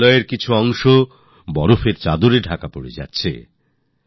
হিমালয়ের কিছু অংশ বরফের চাদরে ঢাকতে শুরু করেছে